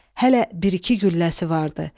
Hələ bir-iki gülləsi vardı.